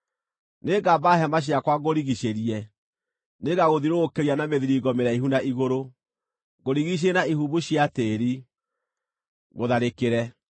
Nĩngamba hema ciakwa ngũrigiicĩrie; nĩngagũthiũrũrũkĩria na mĩthiringo mĩraihu na igũrũ, ngũrigiicĩrie na ihumbu cia tĩĩri, ngũtharĩkĩre.